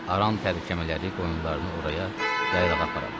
Aran tərəkəmələri qoyunlarını oraya yaylağa aparırlar.